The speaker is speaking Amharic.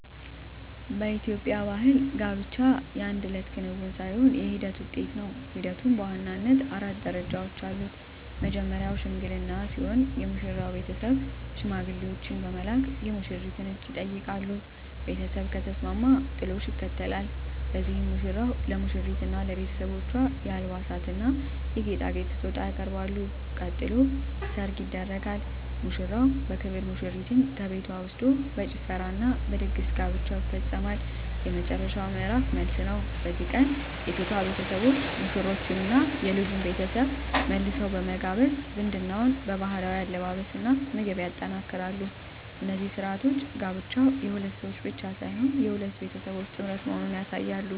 በኢትዮጵያ ባሕል ጋብቻ የአንድ እለት ክንውን ሳይሆን የሂደት ውጤት ነው። ሂደቱም በዋናነት አራት ደረጃዎች አሉት። መጀመርያው "ሽምግልና" ሲሆን፣ የሙሽራው ቤተሰብ ሽማግሌዎችን በመላክ የሙሽሪትን እጅ ይጠይቃሉ። ቤተሰብ ከተስማማ "ጥሎሽ" ይከተላል፤ በዚህም ሙሽራው ለሙሽሪትና ለቤተሰቦቿ የአልባሳትና የጌጣጌጥ ስጦታ ያቀርባል። ቀጥሎ "ሰርግ" ይደረጋል፤ ሙሽራው በክብር ሙሽሪትን ከቤቷ ወስዶ በጭፈራና በድግስ ጋብቻው ይፈጸማል። የመጨረሻው ምዕራፍ "መልስ" ነው። በዚህ ቀን የሴቷ ቤተሰቦች ሙሽሮቹንና የልጁን ቤተሰብ መልሰው በመጋበዝ ዝምድናውን በባህላዊ አለባበስና ምግብ ያጠናክራሉ። እነዚህ ሥርዓቶች ጋብቻው የሁለት ሰዎች ብቻ ሳይሆን የሁለት ቤተሰቦች ጥምረት መሆኑን ያሳያሉ።